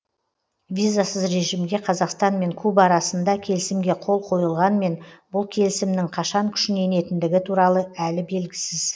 визасыз режимге қазақстанмен куба арасында келісімге қол қойылғанмен бұл келісімнің қашан күшіне енетіндігі туралы әлі белгісіз